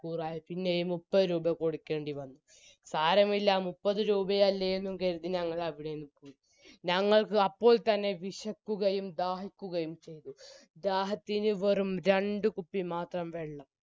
ആയി പിന്നെയും മുപ്പതുരൂപ കൊടുക്കേണ്ടി വന്നു സാരമില്ല മുപ്പതുരൂപയല്ലേ എന്നും കരുതി ഞങ്ങളവിടെനിന്ന് പോയി ഞങ്ങൾക്ക് അപ്പോൾ തന്നെ വിശക്കുകയും ദാഹിക്കുകയും ചെയ്തു ദാഹത്തിന് വെറും രണ്ട് കുപ്പി മാത്രം വെള്ളം